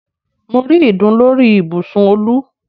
Mo rí ìdun lórí ibùsùn Olú